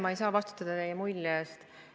Ma ei saa vastutada teie mulje eest.